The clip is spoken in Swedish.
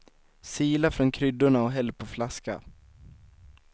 Sila från kryddorna och häll på flaska.